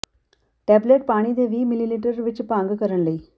tablet ਪਾਣੀ ਦੇ ਵੀਹ ਿਮਲੀਲੀਟਰ ਵਿੱਚ ਭੰਗ ਕਰਨ ਲਈ